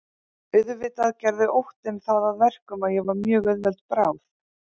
Auðvitað gerði óttinn það að verkum að ég var mjög auðveld bráð.